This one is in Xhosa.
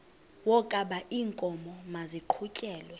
wokaba iinkomo maziqhutyelwe